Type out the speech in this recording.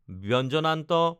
ৎ